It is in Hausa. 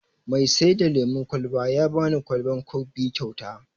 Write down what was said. Mai sai da lemon kwalban ya bani kwalban kok biyu kyauta